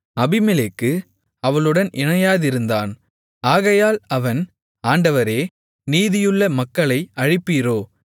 அபிமெலேக்கு அவளுடன் இணையாதிருந்தான் ஆகையால் அவன் ஆண்டவரே நீதியுள்ள மக்களை அழிப்பீரோ